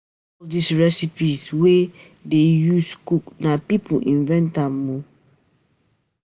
All these recipes wey we dey use cook, na people invent am oo